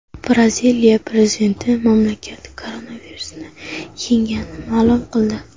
Braziliya prezidenti mamlakat koronavirusni yengganini ma’lum qildi.